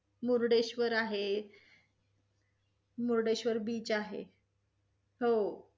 हो. मुर्डेश्र्वर आहे. Murdeshwar beach ahe